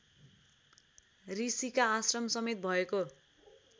ऋषिका आश्रमसमेत भएको